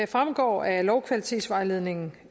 fremgår af lovkvalitetsvejledningen